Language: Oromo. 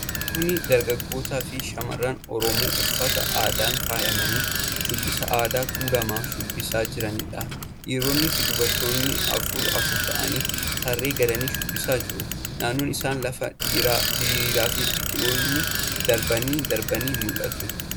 Kuni dargaggoota fi shamarran Oromoo uffata aadaan faayamanii shubbisa aadaa tulamaa shubbisaa jiranidha. Dhiironnii fi durboonni afur afur ta'anii tarree galanii shubbisaa jiru. Naannoon isaanii lafa diriiraa fi biqiltoonni darbanii darbanii mul'atu.